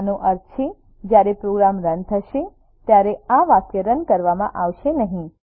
આનો અર્થ છે જયારે પ્રોગ્રામ રન થશે ત્યારે આ વાક્ય રન કરવામાં આવશે નહીં